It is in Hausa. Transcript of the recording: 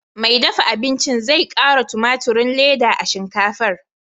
Mai dafa abincin zai ƙara tumaturin ledan a shinkafar.